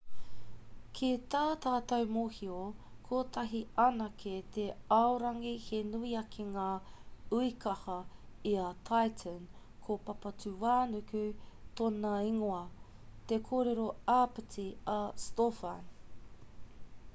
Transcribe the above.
ki tā tātou mōhio kotahi anake te aorangi he nui ake ngā uekaha i a titan ko papatūānuku tōna ingoa te kōrero āpiti a stofan